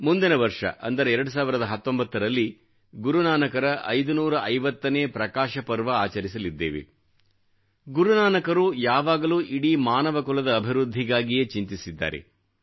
ಮುಂದಿನ ವರ್ಷ ಅಂದರೆ 2019ರಲ್ಲಿ ಗುರುನಾನಕರ 550ನೇ ಪ್ರಕಾಶಪರ್ವ ಆಚರಿಸಲಿದ್ದೇವೆ ಗುರುನಾನಕರು ಯಾವಾಗಲೂ ಇಡೀ ಮಾನವ ಕುಲದ ಅಭಿವೃದ್ಧಿಗಾಗಿಯೇ ಚಿಂತಿಸಿದ್ದಾರೆ